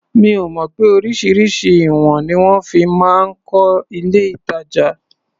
Mo mọ̀ pé oríṣiríṣi ìwọ̀n ni wọ́n fi máa ń kọ́ ilé-ìtàjà.